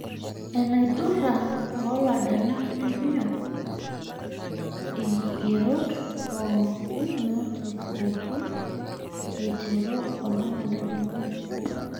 Enaidura oladalak lempira; Inkigerot pookin naatisiraki eiteru olapa ledukuya.